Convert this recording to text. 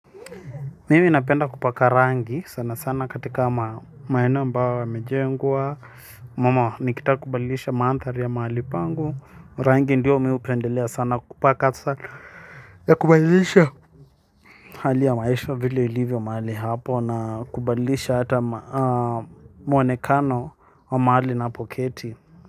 Mimi napenda kupaka rangi sanasana katika maeneo ambayo yamejengwa ama nikitaka kubadilisha mandhari ya mahali pangu rangi ndo mimi hupendelea kupaka sana ya kubadilisha. Hali ya maisha vile ilivyo mahali hapo na kubadilisha hata mwonekano wa mahali ninapoketi.